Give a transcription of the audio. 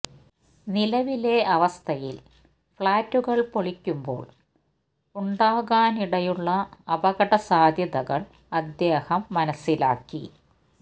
നിലവിലെ അവസ്ഥയിൽ ഫ്ളാറ്റുകൾ പൊളിക്കുമ്പോൾ ഉണ്ടാകാൻ ഇടയുള്ള അപകട സാധ്യതകൾ അദ്ദേഹം മനസിലാക്കി